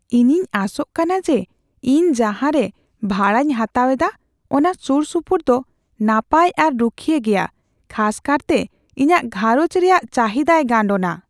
ᱤᱧᱤᱧ ᱟᱥᱚᱜ ᱠᱟᱱᱟ ᱡᱮ ᱤᱧ ᱡᱟᱦᱟᱸᱨᱮ ᱵᱷᱟᱲᱟᱧ ᱦᱟᱛᱟᱣ ᱮᱫᱟ ᱚᱱᱟ ᱥᱩᱨᱼᱥᱩᱯᱩᱨ ᱫᱚ ᱱᱟᱯᱟᱭ ᱟᱨ ᱨᱩᱠᱷᱤᱭᱟᱹ ᱜᱮᱭᱟ , ᱠᱷᱟᱥ ᱠᱟᱨᱛᱮ ᱤᱧᱟᱹᱜ ᱜᱷᱟᱸᱨᱚᱡᱽ ᱨᱮᱭᱟᱜ ᱪᱟᱹᱦᱤᱫᱟᱭ ᱜᱟᱱᱰᱳᱱᱟ ᱾